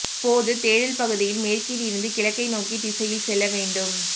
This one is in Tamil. போது தேடல் பகுதியில் மேற்கில் இருந்து கிழக்கை நோக்கி திசையில் செல்ல வேண்டும்